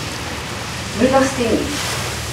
Milosti ni.